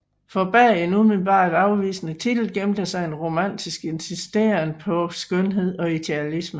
For bag den umiddelbart afvisende titel gemte sig en romantisk insisteren på skønhed og idealisme